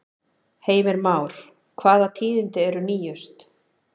Heimir Már, hvaða tíðindi eru nýjust?